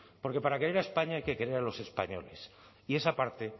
porque para querer a españa hay que querer a los españoles y esa parte